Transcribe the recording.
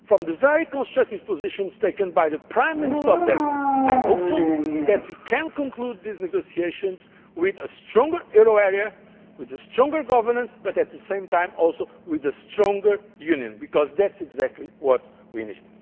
With the very constructive position taken by the Prime Minister of Denmark, I am hopeful that we can conclude these negotiations with a stronger euro area and stronger governance but, at the same time, also with a stronger Union, because that is exactly what we